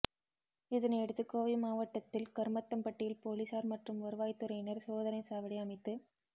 இதனையடுத்து கோவை மாவட்டத்தில் கருமத்தம்பட்டியில் போலீசார் மற்றும் வருவாய்த்துறையினர் சோதனை சாவடி அமைத்து